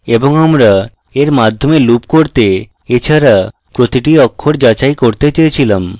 এবং আমরা এর মাধ্যমে loop করতে এছাড়া প্রতিটি অক্ষর যাচাই করতে চেয়েছিলাম